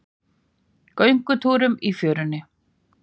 Göngutúrum í fjörunni?